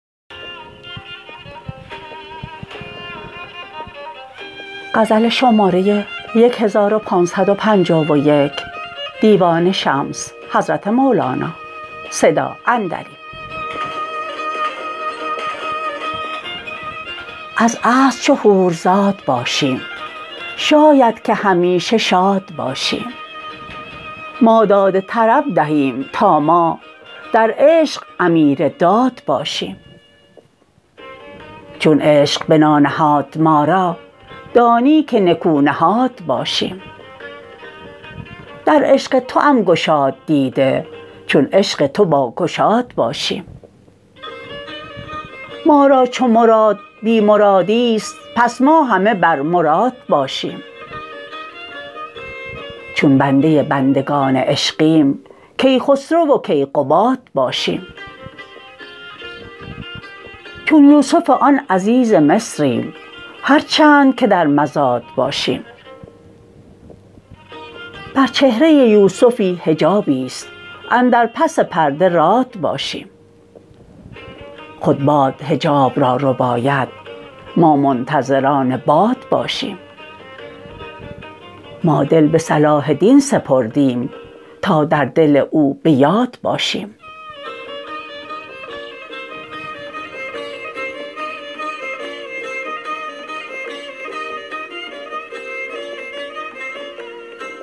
از اصل چو حورزاد باشیم شاید که همیشه شاد باشیم ما داد طرب دهیم تا ما در عشق امیرداد باشیم چون عشق بنا نهاد ما را دانی که نکونهاد باشیم در عشق توام گشاد دیده چون عشق تو باگشاد باشیم ما را چو مراد بی مرادی است پس ما همه بر مراد باشیم چون بنده بندگان عشقیم کیخسرو و کیقباد باشیم چون یوسف آن عزیز مصریم هر چند که در مزاد باشیم بر چهره یوسفی حجابی است اندر پس پرده راد باشیم خود باد حجاب را رباید ما منتظران باد باشیم ما دل به صلاح دین سپردیم تا در دل او به یاد باشیم